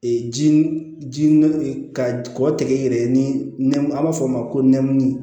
ji ka kɔkɔ tɛgɛ yɛrɛ ye ni nɛm a b'a fɔ o ma ko nɛmuru